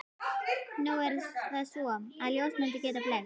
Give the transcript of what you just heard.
Nú er það svo, að ljósmyndir geta blekkt.